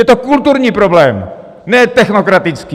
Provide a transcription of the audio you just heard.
Je to kulturní problém, ne technokratický!